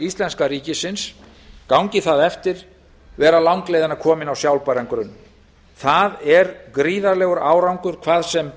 íslenska ríkisins gangi það eftir vera langleiðina kominn á sjálfbæran grunn það er gríðarlegur árangur hvað sem